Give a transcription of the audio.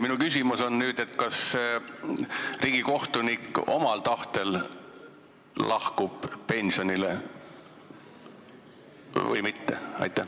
Minu küsimus on nüüd: kas riigikohtunik lahkub omal tahtel pensionile või mitte?